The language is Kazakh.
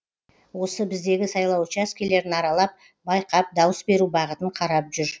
осы біздегі сайлау учаскелерін аралап байқап дауыс беру бағытын қарап жүр